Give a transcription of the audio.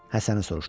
Həsəni soruşdu.